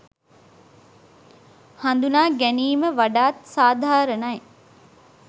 හඳුනාගැනීම වඩාත් සාධාරණයි.